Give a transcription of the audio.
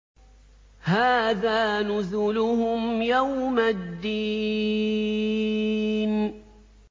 هَٰذَا نُزُلُهُمْ يَوْمَ الدِّينِ